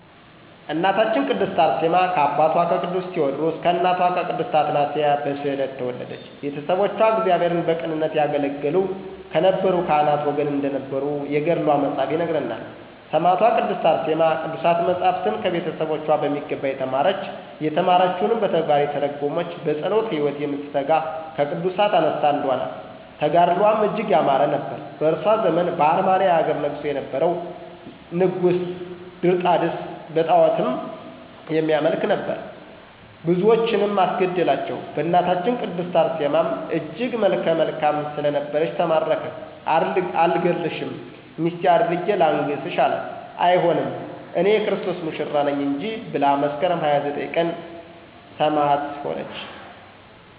እናታችን ቅድስት አርሴማ ከአባቷ ከቅዱስ ቴወድሮስ ከእናቷ ቅድስት አትናስያ በስዕለት ተወለደች። ቤተሰቦቿ እግዚአብሔርን በቅንነት ያገለገሉ ከነበሩ ካህናት ወገን እንደነበሩ የገድሏ መፅሀፍ ይነግረናል። ሰማዕቷ ቅድስት አርሴማ ቅዱሳት መፃፍትን ከቤተሰቦቿ በሚገባ የተማረች፤ የተማረችዉንም በተግባር የተረጎመች፤ በፀሎት ህይወት የምትተጋ ከቅዱሳት አንስት አንዷ ናት። ተጋድሎዋም እጅግ ያማረ ነበር። በእሷ ዘመን በአርመንያ ሀገር ነግሶ የነበረዉ ንጉስም ድርጣድስ በጣዖትም የሚያመልክ ነበር። ብዙዎችንም አስገደላቸዉ በእናታችን ቅድስት አርሴማም እጅግ መልከ መልካም ስለነበረች ተማረከ አልገድልሽም ሚስቴ አድርጌ ላንግስሽ አላት አይሆንም እኔ<የክርስቶስ ሙሽራ ነኝ >እንጂ ብላ መስከረም 29 ቀን ሰማዕት ሆነች።